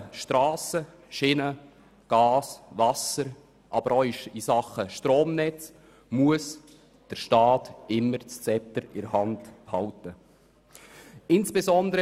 In Sachen Strassen, Schienen, Gas, Wasser und Stromnetze muss der Staat das Zepter immer in der Hand behalten.